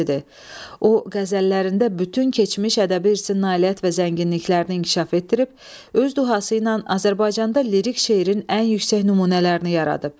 O qəzəllərində bütün keçmiş ədəbi irsin nailiyyət və zənginliklərini inkişaf etdirib, öz dühası ilə Azərbaycanda lirik şeirin ən yüksək nümunələrini yaradıb.